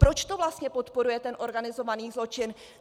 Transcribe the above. Proč to vlastně podporuje ten organizovaný zločin?